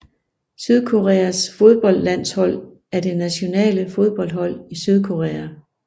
Sydkoreas fodboldlandshold er det nationale fodboldhold i Sydkorea